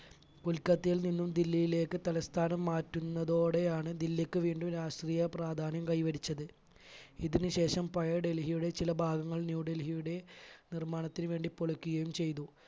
കൊൽക്കത്തയിൽ നിന്നും ദില്ലിയിലേക്ക് തലസ്ഥാനം മാറ്റുന്നതോടെയാണ് ദില്ലിക്ക് വീണ്ടും രാഷ്ട്രീയ പ്രാധാന്യം കൈവരിച്ചത്. ഇതിന് ശേഷം പഴയ ഡൽഹിയുടെ ചില ഭാഗങ്ങൾ ന്യൂഡൽഹിയുടെ നിർമ്മാണത്തിന് വേണ്ടി പൊളിക്കുകയും ചെയ്തു.